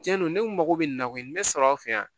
Cɛn don ne kungo bɛ na ko nin bɛ sɔrɔ an fɛ yan